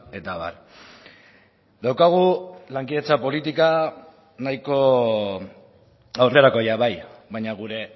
eta abar daukagu lankidetza politika nahiko aurrerakoia bai baina gure